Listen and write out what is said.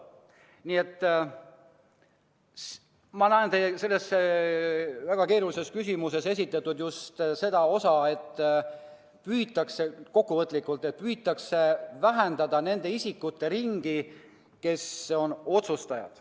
Nii et ma näen teie selle väga keerulise küsimuse puhul just seda, et püütakse vähendada nende isikute ringi, kes on otsustajad.